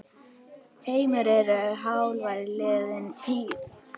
Heimir: Eru álver liðin tíð?